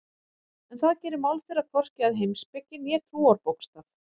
En það gerir mál þeirra hvorki að heimspeki né trúarbókstaf.